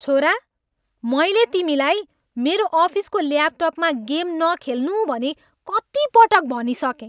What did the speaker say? छोरा, मैले तिमीलाई मेरो अफिसको ल्यापटपमा गेम न खेल्नु भनी कति पटक भनिसकेँ?